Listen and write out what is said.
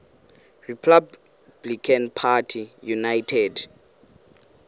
republican party united